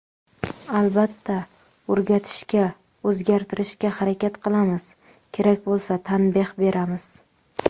Albatta, o‘rgatishga, o‘zgartirishga harakat qilamiz, kerak bo‘lsa tanbeh beramiz.